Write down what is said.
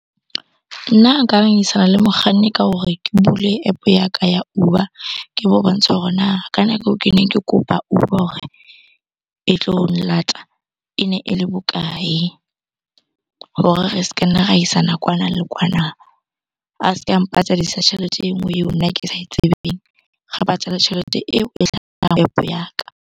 Nna nka ngangisana le mokganni ka hore ke bule App-o ya ka ya Uber. Ke mo bontshe hore na ka nako eo keneng ke kopa Uber hore e tlo nlata, e ne ele bokae? Hore re ska nna ra isana kwana le kwana. A ska mpatadisa tjhelete e nngwe eo nna ke sa e tsebeng, re patale tjhelete eo e app-o ya ka.